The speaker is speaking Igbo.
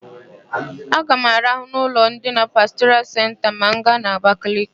Aga m araha n'ụlọ ndina Pastoral Senta ma m gaa Abakaliki.